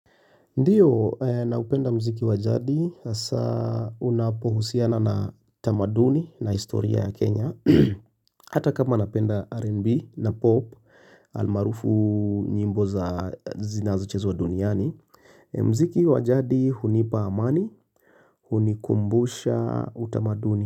Ndiyo, naupenda muziki wa jadi hasa unapohusiana na tamaduni na historia ya Kenya Hata kama napenda R&B na POP almaarufu nyimbo za zinazochezwa duniani muziki wa jadi hunipa amani, hunikumbusha utamaduni.